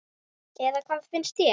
Eða hvað finnst þér?